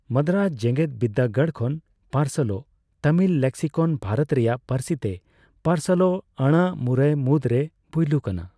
ᱢᱟᱫᱽᱫᱨᱟᱡᱽ ᱡᱮᱜᱮᱫ ᱵᱤᱨᱫᱟᱹᱜᱟᱲ ᱠᱷᱚᱱ ᱯᱟᱨᱥᱟᱞᱚᱜ ᱛᱟᱹᱢᱤᱞ ᱞᱮᱠᱥᱤᱠᱚᱱ, ᱵᱷᱟᱨᱚᱛ ᱨᱮᱭᱟᱜ ᱯᱟᱹᱨᱥᱤᱛᱮ ᱯᱟᱨᱥᱟᱞᱚᱜ ᱟᱹᱲᱟᱹ ᱢᱩᱨᱟᱹᱭ ᱢᱩᱫᱽᱨᱮ ᱯᱳᱭᱞᱳ ᱠᱟᱱᱟ ᱾